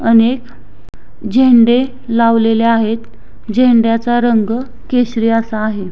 अनेक झेंडे लावलेले आहेत झेंड्याचा रंग केशरी असा आहे.